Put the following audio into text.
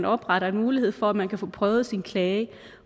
opretter en mulighed for at man kan få prøvet sin klage